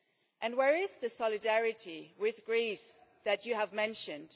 And where is the solidarity with Greece that you mentioned?